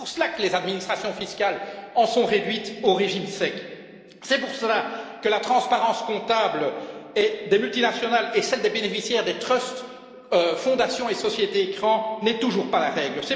C'est pour cela que les administrations fiscales en sont réduites au régime sec, c'est pour cela que la transparence comptable des multinationales et celle des bénéficiaires des trusts, fondations et sociétés écran n'est toujours pas la règle.